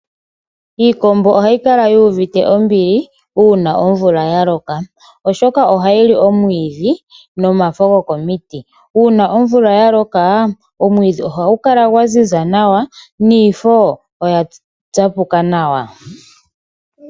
Iikombo ohayi kala yuuvite ombili uuna omvula ya loka oshoka ohayi li omwidhi nomafo gwokomiti .Uuna omvula yaloka omwidhi ohagu kala gwa ziza nawa niifo oya tsapuka nawa.